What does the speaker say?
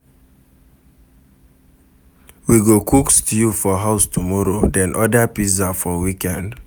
We go cook stew for house tomorrow, then order pizza for weekend.